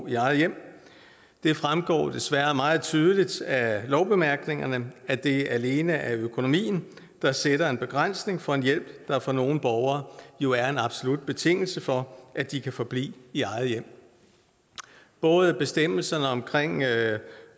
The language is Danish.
i eget hjem det fremgår desværre meget tydeligt af lovbemærkningerne at det alene er økonomien der sætter en begrænsning for en hjælp der for nogle borgere jo er en absolut betingelse for at de kan forblive i eget hjem både bestemmelsen om